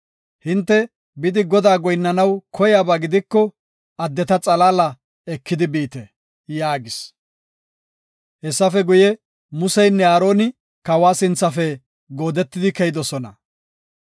Hinte, bidi Godaa goyinnanaw koyaba gidiko addeta xalaala eki biite” yaagis. Hessafe guye, Musenne Aarona kawa sinthafe goodetidi keyidosona.